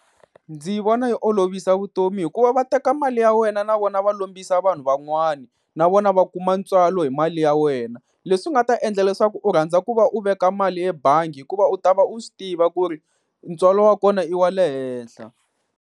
Ndzi vona yi olovisa vutomi, hikuva va teka mali ya wena na vona va lombisa vanhu van'wana na vona va kuma ntswalo hi mali ya wena. Leswi nga ta endla leswaku u rhandza ku va u veka mali ebangi hikuva u ta va u swi tiva ku ri ntswalo wa kona i wa le henhla.